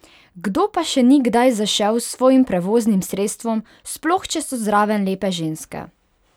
Kdo pa še ni kdaj zašel s svojim prevoznim sredstvom, sploh če so zraven lepe ženske?